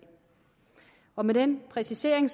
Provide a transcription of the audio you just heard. og med den præcisering